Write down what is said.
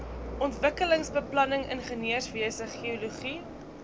ontwikkelingsbeplanning ingenieurswese geologie